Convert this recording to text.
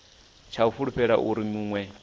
tsha u fulufhela uri munwe